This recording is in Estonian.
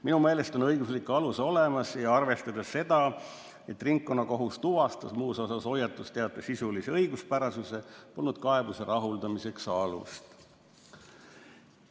Minu meelest on õiguslik alus olemas ning arvestades seda, et ringkonnakohus tuvastas muus osas hoiatusteate sisulise õiguspärasuse, polnud kaebuse rahuldamiseks alust.